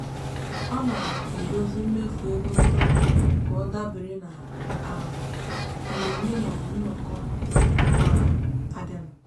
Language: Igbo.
ọ na-edozi mmefu ego ntụrụndụ ka ọ dabere na um mmemme maọbụ nnọkọ na-abịanụ.